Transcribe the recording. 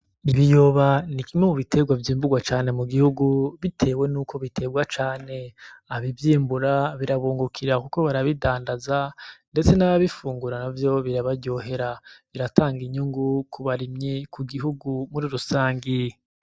Ibiyoba ni kimwe mu biterwa vyimburwa cane mu gihugu, bitewe nuko biterwa cane, abavyimbura birabungukira kuko barabidandaza ndetse n'ababifungura navyo birabaryohera, biratanga inyungu kubarimyi, ku gihugu muri rusange.